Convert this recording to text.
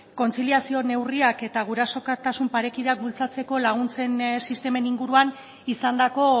kontziliazio neurriak eta gurasotasun parekidea bultzatzeko laguntzen sistemen inguruan izandako